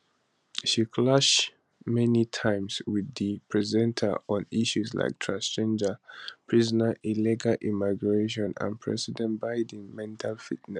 she clash many times with di presenter on issues like transgender prisoners illegal immigration and president biden mental fitness